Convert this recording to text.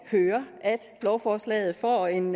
høre at lovforslaget får en